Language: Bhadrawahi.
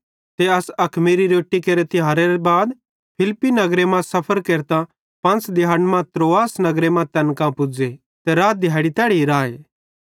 ते अस अखमीरी रोट्टी केरे तिहारे बाद फिलिप्पी नगरे मरां सफर केरतां पंच़ दिहैड़ी मां त्रोआस नगरे मां तैन कां पुज़े ते रात दिहैड़ी तैड़ी राए